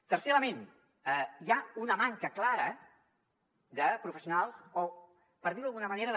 tercer element hi ha una manca clara de professionals o per dir ho d’alguna manera